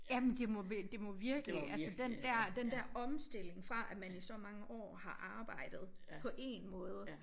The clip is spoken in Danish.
Jamen det må det må virkelig altså den dér den der omstilling fra at man i så mange år har arbejdet på én måde